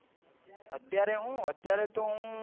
અતત્યારે હું અત્યારે તો હું